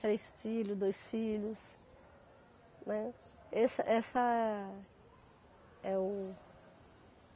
Três filhos, dois filhos. Né? Esse, essa, é o